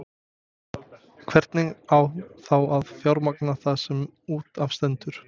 Hvernig á þá að fjármagna það sem út af stendur?